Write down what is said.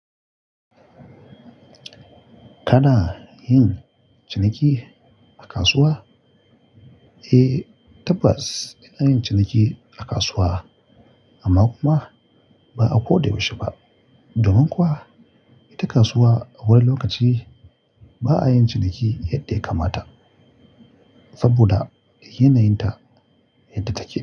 Kana yin ciniki a kasuwa? Eh, tabbas ina yin ciniki a kasuwa amma kuma ba a ko da yaushe ba. Domin kuwa ita kasuwa a wani lokaci ba a yin ciniki yadda ya kamata saboda yanayin ta yadda take.